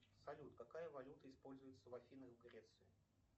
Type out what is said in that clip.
салют какая валюта используется в афинах в греции